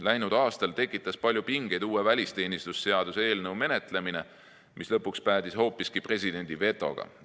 Läinud aastal tekitas palju pingeid uue välisteenistuse seaduse eelnõu menetlemine, mis lõpuks päädis hoopiski presidendi vetoga.